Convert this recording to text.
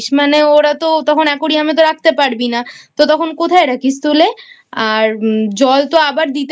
মানে ওরা তখন তো Aquarium এ তো রাখতে পারবি না তখন কোথায় রাখিস তুলে আর জল তো আবার দিতে